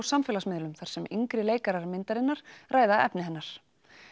samfélagsmiðlum þar sem yngri leikarar myndarinnar ræða efni hennar